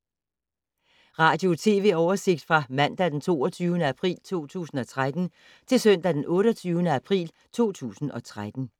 Radio/TV oversigt fra mandag d. 22. april 2013 til søndag d. 28. april 2013